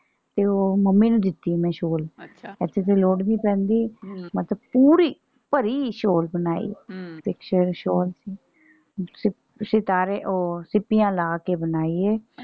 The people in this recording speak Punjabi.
ਤੇ ਉਹ ਮੰਮੀ ਨੂੰ ਦਿੱਤੀ ਮੈਂ ਸ਼ੋਲ ਇਥੇ ਤੇ ਲੋੜ ਨਹੀਂ ਪੈਂਦੀ ਮਤਲਬ ਪੂਰੀ ਭਰੀ ਸ਼ੋਲ ਬਣਾਈ ਹਮ shawl ਸਿਤਾਰੇ ਉਹ ਸਿੱਪੀਆਂ ਲਾ ਕੇ ਬਣਾਈ ਏ।